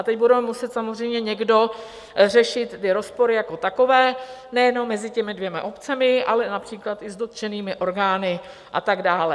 A teď bude muset samozřejmě někdo řešit ty rozpory jako takové, nejenom mezi těmi dvěma obcemi, ale například i s dotčenými orgány a tak dále.